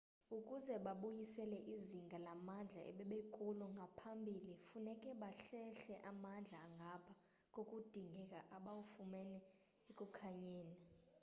ukuze babuyisele izinga lamandla ebebekulo ngaphambili funeke bahlehle amandla angapha kokudingeka abawafumene ekukhanyeni